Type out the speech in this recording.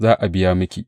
Za a biya miki.